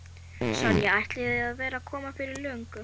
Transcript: Sonja ætlaði að vera komin fyrir löngu.